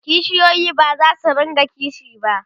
kishiyoyi bazasu rinka kishi ba